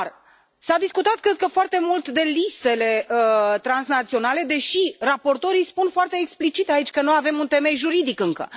Dar s a discutat foarte mult despre listele transnaționale, deși raportorii spun foarte explicit aici că nu avem un temei juridic încă.